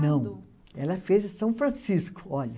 Não, ela fez em São Francisco, olha.